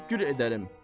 Təşəkkür edərəm.